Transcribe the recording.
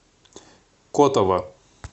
котово